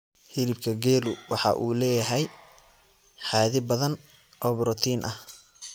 Hilibka geelu waxa uu leeyahay xaddi badan oo borotiin ah